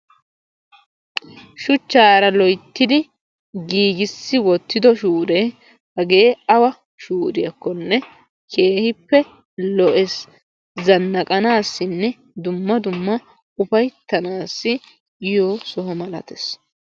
Shuchchaara loyittidi giigissi wottido shuuree hagee awa shuuriyakkonne keehippe lo'ees. Zannaqanaassinne dumma dumma ufayittanaassi yiyo sohuwan malatees.